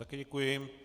Také děkuji.